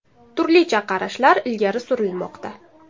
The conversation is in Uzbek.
Turlicha qarashlar ilgari surilmoqda.